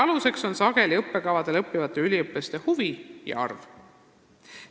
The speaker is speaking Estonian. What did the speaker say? Sageli on otsuste aluseks õppekavadel õppivate üliõpilaste huvid ja arv.